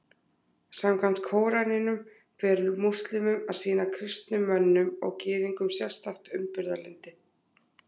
Samkvæmt Kóraninum ber múslímum að sýna kristnum mönnum og Gyðingum sérstakt umburðarlyndi.